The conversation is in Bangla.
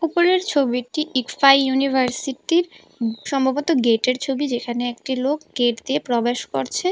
উপরের ছবিটি ইকসফা ইউনিভার্সিটির সম্ভবত গেটের ছবি যেখানে একটি লোক গেট দিয়ে প্রবেশ করছে।